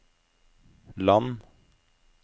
land